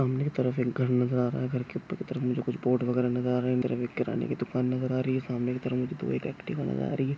सामने की तरफ एक घर नजर आ रहा है घर के ऊपर की तरफ मुझे कुछ बोर्ड वगेरा नजर आ रहे है अंदर एक किराने की दूकान नजर आ रही है सामने की तरफ मुझे दो एक अक्टीवा नजर आ रही है।